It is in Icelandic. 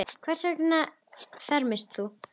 Hvers vegna fermist þú?